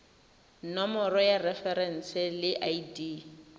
nomoro ya referense le id